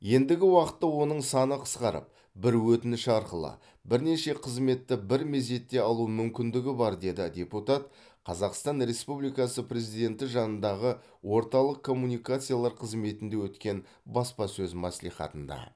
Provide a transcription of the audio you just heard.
ендігі уақытта оның саны қысқарып бір өтініш арқылы бірнеше қызметті бір мезетте алу мүмкіндігі бар деді депутат қазақстан республикасы президенті жанындағы орталық коммуникациялар қызметінде өткен баспасөз мәслихатында